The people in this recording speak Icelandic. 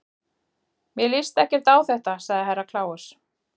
Mér líst ekki á þetta, sagði Herra Kláus.